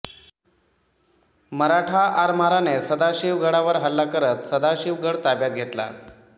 मराठा आरमाराने सदाशिवगडावर हल्ला करत सदाशिवगड ताब्यात घेतला